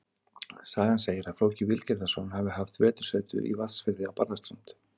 Sagan segir að Flóki Vilgerðarson hafi haft vetursetu í Vatnsfirði á Barðaströnd.